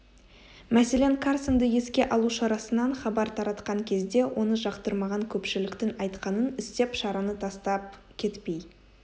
мәселен карсонды еске алу шарасынан хабар таратқан кезде оны жақтырмаған көпшіліктің айтқанын істеп шараны тастап кетпей